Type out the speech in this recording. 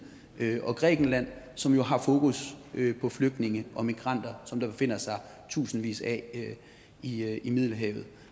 og grækenland som jo har fokus på flygtninge og migranter som der jo befinder sig tusindvis af i i middelhavet